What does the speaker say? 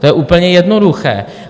To je úplně jednoduché.